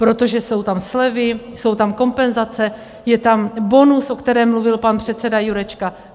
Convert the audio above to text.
Protože jsou tam slevy, jsou tam kompenzace, je tam bonus, o kterém mluvil pan předseda Jurečka.